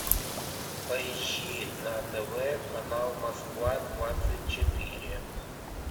поищи на тв канал москва двадцать четыре